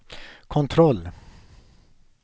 kontroll